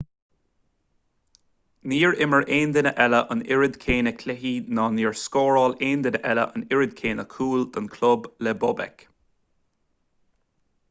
níor imir aon duine eile an oiread céanna cluichí ná níor scóráil aon duine eile an oiread céanna cúl don chlub le bobek